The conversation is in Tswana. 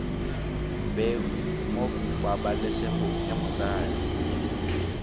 bewe mo pabalesegong ya motsadi